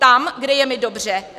Tam, kde je mi dobře.